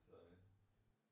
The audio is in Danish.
Så øh